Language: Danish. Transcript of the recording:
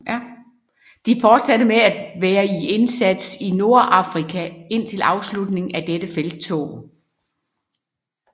De fortsatte med at være i indsats i Nordafrika indtil afslutningen af dette felttog